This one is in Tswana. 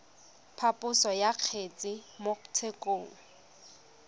phaposo ya kgetse mo tshekong